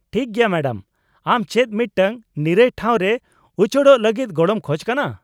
-ᱴᱷᱤᱠ ᱜᱮᱭᱟ ᱢᱮᱰᱟᱢ, ᱟᱢ ᱪᱮᱫ ᱢᱤᱫᱴᱟᱝ ᱱᱤᱨᱟᱹᱭ ᱴᱷᱟᱶ ᱨᱮ ᱩᱪᱟᱹᱲᱚᱜ ᱞᱟᱹᱜᱤᱫ ᱜᱚᱲᱚᱢ ᱠᱷᱚᱡ ᱠᱟᱱᱟ ?